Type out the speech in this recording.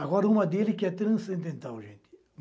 Agora uma dele que é transcendental, gente.